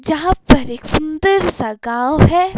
जहां पर एक सुंदर सा गांव है।